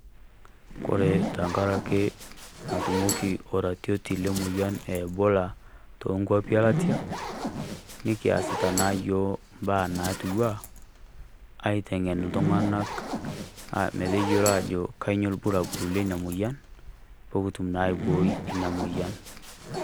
Kore teng'araki naitumoki oratioti emoyian Ebola too nkwapi elatia. Nikiaas naa eyook mbaa naitua aiteng'en iltung'anak meteiyeloo ajo kainyioo lpurapuri lenia moyian pee okituum naa aibooi enia moyian.